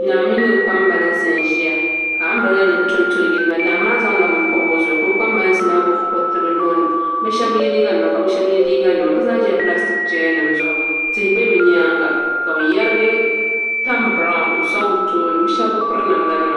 Naa mini o kpambalinsi n ʒiya ka anbirɛla tonto n yiliba naa maa zaŋla bini pobi o zuɣu ka o kpambalinsi maa gbuni kuriti bi nuuni bi shab bi yɛ liiga nima ka bi shab yɛ liiga nima bi zaa ʒila pilastik chɛya nim zuɣu tihi bɛ bi nyaanga ka bi yɛrihi tani biraawn n soŋ bi tooni bi shab bi piri namda nima